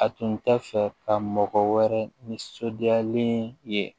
A tun tɛ fɛ ka mɔgɔ wɛrɛ nisɔndiyalen ye